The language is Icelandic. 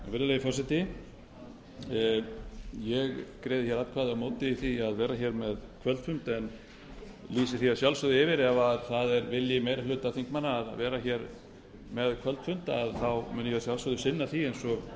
virðulegi forseti ég greiði atkvæði á móti því að vera með kvöldfund en lýsi því yfir að ef það er vilji meiri hluta þingmanna að vera með kvöldfund mun ég að sjálfsögðu sinna því eins og